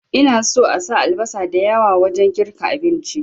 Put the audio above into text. Ina so asa albasa da yawa wajen girka abinci